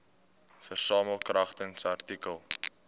versamel kragtens artikel